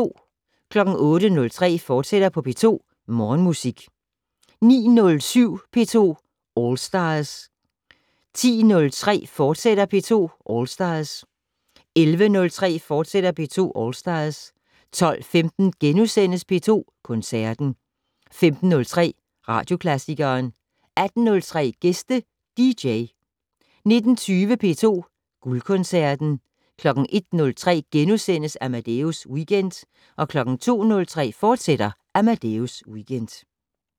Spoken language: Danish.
08:03: P2 Morgenmusik, fortsat 09:07: P2 All Stars 10:03: P2 All Stars, fortsat 11:03: P2 All Stars, fortsat 12:15: P2 Koncerten * 15:03: Søndagsklassikeren 18:03: Gæste dj 19:20: P2 Guldkoncerten 01:03: Amadeus Weekend * 02:03: Amadeus Weekend, fortsat